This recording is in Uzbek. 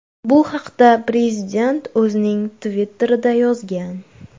Bu haqda prezident o‘zining Twitter’ida yozgan .